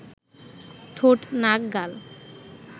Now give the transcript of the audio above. ঠোঁট নাক গাল